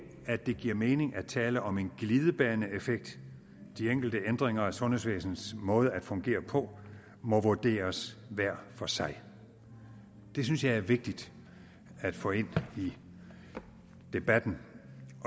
at det giver mening at tale om en glidebaneeffekt de enkelte ændringer af sundhedsvæsenets måde at fungere på må vurderes hver for sig det synes jeg er vigtigt at få ind i debatten